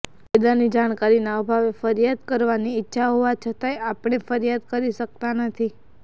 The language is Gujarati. કાયદાની જાણકારીના અભાવે ફરીયાદ કરવાની ઈચ્છા હોવા છતાય આપણે ફરીયાદ કરી શકતા નથી